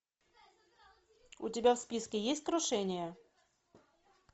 у тебя в списке есть крушение